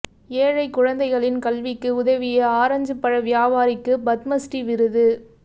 ஏழைக் குழந்தைகளின் கல்விக்கு உதவிய ஆரஞ்சுப் பழ வியாபாரிக்கு பத்மஸ்ரீ விருது